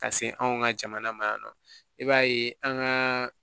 Ka se anw ka jamana ma yan nɔ i b'a ye an gaa